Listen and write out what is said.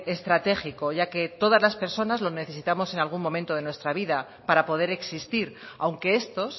estratégico ya que todas las personas lo necesitamos en algún momento de nuestra vida para poder existir aunque esto